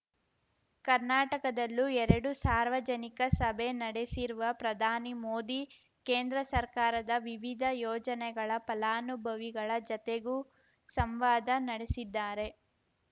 ಕರ್ನಾಟಕದಲ್ಲೂ ಎರಡು ಸಾರ್ವಜನಿಕ ಸಭೆ ನಡೆಸಿರುವ ಪ್ರಧಾನಿ ಮೋದಿ ಕೇಂದ್ರ ಸರ್ಕಾರದ ವಿವಿಧ ಯೋಜನೆಗಳ ಫಲಾನುಭವಿಗಳ ಜತೆಗೂ ಸಂವಾದ ನಡೆಸಿದ್ದಾರೆ